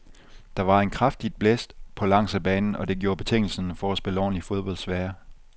Der var en kraftigt blæst på langs af banen, og det gjorde betingelserne for at spille ordentligt fodbold svære.